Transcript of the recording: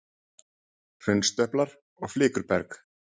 Hraunstöplar og flikruberg.